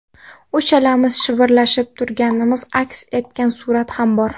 Uchalamiz shivirlashib turganimiz aks etgan surat ham bor.